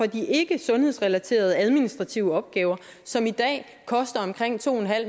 de ikkesundhedsrelaterede administrative opgaver som i dag koster omkring to